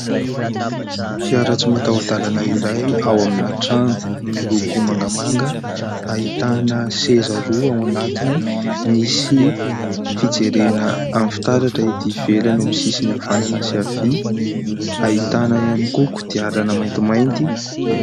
Fiara tsy mataho-dalana iray ao amina trano, miloko mangamanga. Ahitana seza roa ao anatiny. Misy fijerena amin'ny fitaratra ety ivelany amin'ny sisiny havanana sy havia. Ahitana ihany koa kodiarana maintimainty.